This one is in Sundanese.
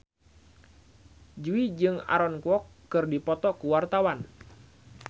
Jui jeung Aaron Kwok keur dipoto ku wartawan